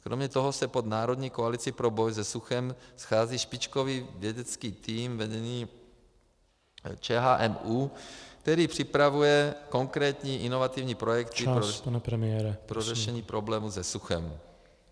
Kromě toho se pod Národní koalicí pro boj se suchem schází špičkový vědecký tým vedený ČHMÚ, který připravuje konkrétní inovativní projekty pro řešení problémů se suchem.